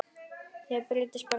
Er þér treyst bara svona?